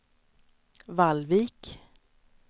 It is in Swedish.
Vallvik